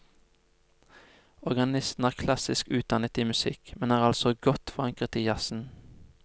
Organisten er klassisk utdannet i musikk, men er altså godt forankret i jazzen.